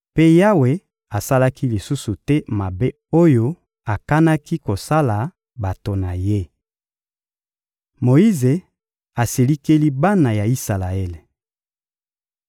Mpe Yawe asalaki lisusu te mabe oyo akanaki kosala bato na Ye. Moyize asilikeli bana ya Isalaele